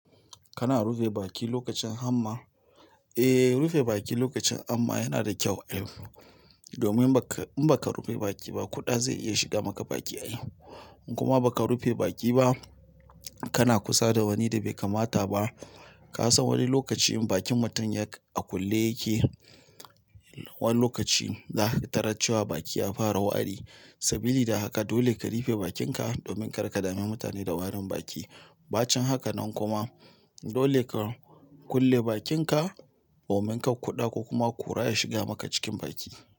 Kana rufe baki lokacin hamma, eh rufe baki lokacin hamma yanada kyau ai domin in baka rufe baki ba, kuɗa zai iya shiga maka baki. In kuma baka rufe baki ba, kana kusa da wani da bai kamata ba. Ka san wani lokaci bakin mutum a kulle yake? Wani lokaci za ka taracewa baki ya fara wari. Sabili da haka dole ka rufe bakinka domin kar ka dame mutane da warin baki. Bacin hakanan kuma dole ka kulle bakinka domin kar kuda kokuma kura ya shiga maka baki.